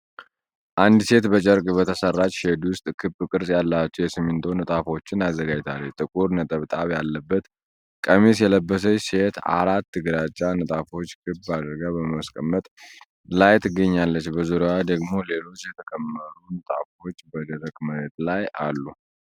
አንዲት ሴት በጨርቅ በተሠራች ሼድ ውስጥ ክብ ቅርጽ ያላቸው የሲሚንቶ ንጣፎችን አዘጋጅታለች። ጥቁር ነጠብጣብ ያለበት ቀሚስ የለበሰችው ሴት አራት ግራጫ ንጣፎችን ክብ አድርጋ በማስቀመጥ ላይ ትገኛለች። በዙሪያዋ ደግሞ ሌሎች የተከመሩ ንጣፎች በደረቅ መሬት ላይ አሉ።